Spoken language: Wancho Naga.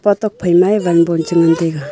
epa tuak phaima wanbon che ngan taiga.